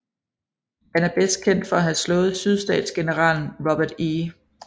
Han er bedst kendt for at have slået sydstatsgeneralen Robert E